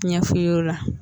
Ɲɛ fu ye o la